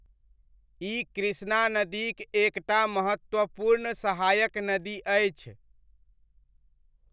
ई कृष्णा नदीक एक टा महत्वपूर्ण सहायक नदी अछि।